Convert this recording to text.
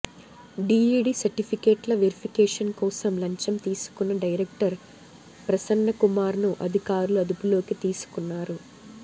D.Ed సర్టిఫికేట్ల verification కోసం లంచం తీసుకున్న డైరెక్టర్ ప్రసన్నకుమార్ను అధికారులు అదుపులోకి తీసుకున్నారు